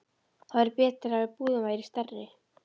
Það væri betra ef íbúðin væri stærri.